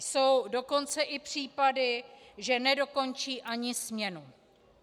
Jsou dokonce i případy, že nedokončí ani směnu.